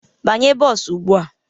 Banye bọs ugbu a!